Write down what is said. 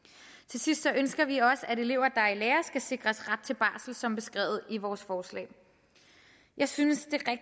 sidst ønsker vi også at elever der er i lære skal sikres ret til barsel som beskrevet i vores forslag jeg synes